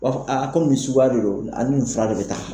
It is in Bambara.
U b'a fɔ a komi nin suguya de don ani nin fura de bɛ taa.